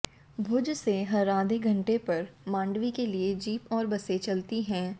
भुज से हर आधे घंटे पर मांडवी के लिए जीप और बसें चलती हैं